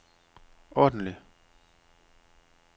ordentlig